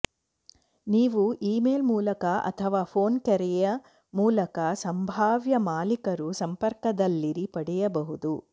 ನೀವು ಇಮೇಲ್ ಮೂಲಕ ಅಥವಾ ಫೋನ್ ಕರೆಯ ಮೂಲಕ ಸಂಭಾವ್ಯ ಮಾಲೀಕರು ಸಂಪರ್ಕದಲ್ಲಿರಿ ಪಡೆಯಬಹುದು